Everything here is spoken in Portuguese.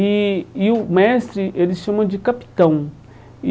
E e o mestre eles chamam de capitão e.